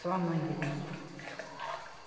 Só a mãe que existia.